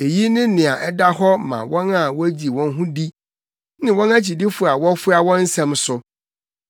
Eyi ne nea ɛda hɔ ma wɔn a wogye wɔn ho di, ne wɔn akyidifo a wɔfoa wɔn nsɛm so.